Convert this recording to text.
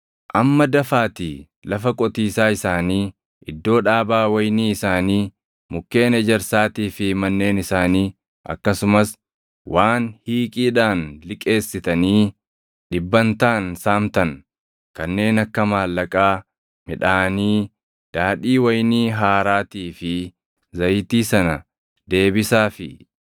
Amma dafaatii lafa qotiisaa isaanii, iddoo dhaabaa wayinii isaanii, mukkeen ejersaatii fi manneen isaanii akkasumas waan hiiqiidhaan liqeessitanii dhibbantaan saamtan kanneen akka maallaqaa, midhaanii, daadhii wayinii haaraatii fi zayitii sana deebisaafii.”